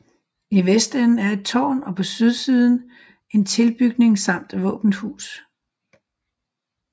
I vestenden er et tårn og på sydsiden en tilbygning samt våbenhus